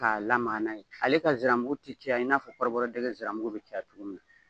Ka lamaga n'a ye. Ale ka ziramugu ti caya i na fɔ kɔrɔbɔrɔ dɛgɛ ziramugu be caya cogo min na.